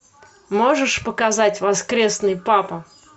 можешь показать воскресный папа